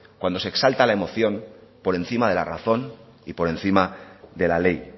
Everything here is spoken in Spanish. cuando se exalta la emoción por encima de la razón y por encima de la ley